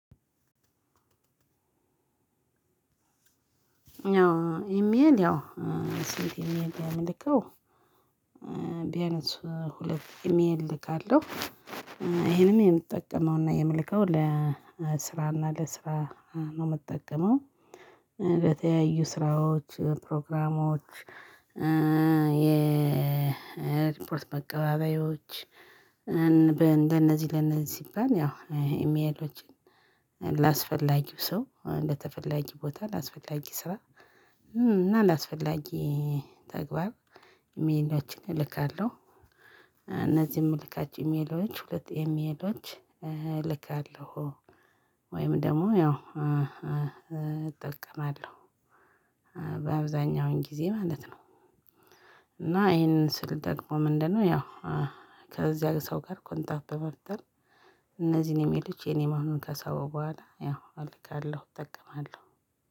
ያው ኢሜል ያው ሴት ኢሜል የምልከው ቢያነስ ለት ኢሜል እልካለሁ ይሄንም የምትጠቀመውና የምልከው ለስራና ለስራ ነው ምትጠቀመው። ለተለያዩ ስራዎች ፕሮግራሞች የሪፖርት መቀባበያዎች። እንደነዚህ ለነዚህ ሲባል ያው ኢሜሎችን ላስፈላጊው ሰው እንደተፈለገ ቦታ ላስፈላጊ ስራ እና ላስፈላጊ ተግባር ኢሜላችን እልካለሁ። እነዚህም ምልካቸው ኢሜሎች ሁለት ኢሜሎች እልካለሁ። ወይም ደግሞ ያው እጠቀማለሁ በአብዛኛው ጊዜ ማለት ነው። እና ይሄንን ስል ደግሞ ምንድነው? ያው ከዚያ ሰው ጋር ኮንታት በመፍጠር እነዚህን ኢሜሎች የኔ መሆኑን ከሰበው በኋላ ያው አልካለው እጠቀማለሁ።